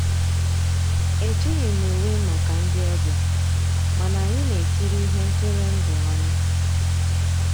Ejíghị m ùwé màkà ndị́ ọ̀bịá, mànà ànyị́ ná-èkírí íhé ntụ́rụ́èndụ́ ọnụ́.